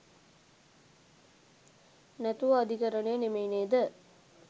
නැතුව අධිකරණය නෙමෙයි නේද?